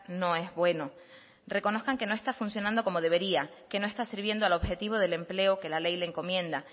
no es bueno reconozcan que no está funcionando como debería que no está sirviendo al objetivo del empleo que la ley le encomienda